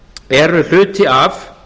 eru hluti af